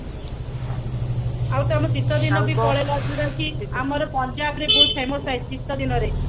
ଆଉ ତ ଆମ ଶୀତଦିନ ବି ପଳେଇଲା ଆମର ପଞ୍ଜାବ ରେ ବହୁତ famous ଥାଏ ଶୀତଦିନରେ